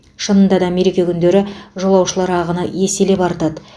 шынында да мереке күндері жолаушылар ағыны еселеп артады